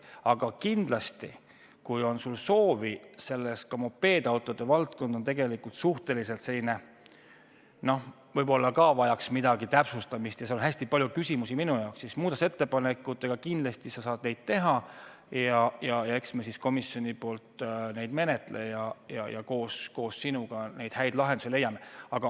Aga kindlasti, kui sul on soovi , siis muudatusettepanekuid sa saad teha ja eks me siis komisjonis neid menetle ja koos sinuga neid häid lahendusi leia.